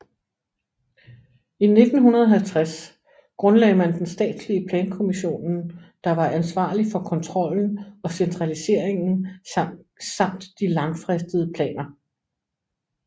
I 1950 grundlagde man den statslige plankommissionen der var ansvarlig for kontrollen og centraliseringen samt de langfristede planer